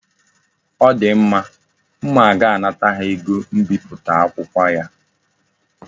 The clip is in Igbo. O di mma. M ga-anata ya ego mbipụta akwụkwọ ya